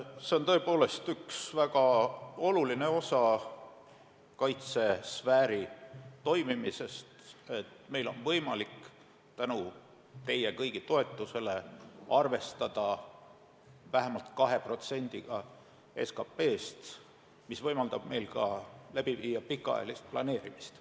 See on tõepoolest üks väga oluline osa kaitsesfääri toimimisest, et meil on võimalik tänu teie kõigi toetusele arvestada vähemalt 2%-ga SKT-st, mis võimaldab meil pikaajalist planeerimist.